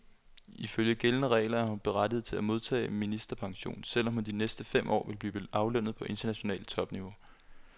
Ifølge gældende regler er hun berettiget til at modtage ministerpension, selv om hun de næste fem år vil blive aflønnet på internationalt topniveau.